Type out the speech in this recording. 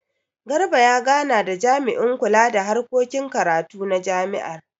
Garba ya gana da jami'in kula da harkokin karatu na jami'ar.